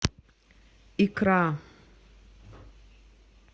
икра